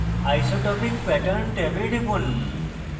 isotropic pattern ট্যাবে টিপুন